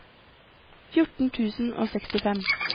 fjorten tusen og sekstifem